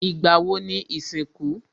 Ìgbà wo ni ìsìnkú?